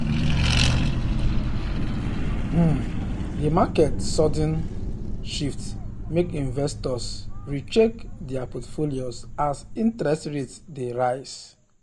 um di market sudden um shift make investors re-check dir portfolios as interest rates dey rise.